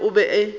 go le bjalo o be